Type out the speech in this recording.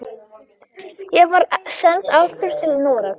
Ég var send aftur til Noregs.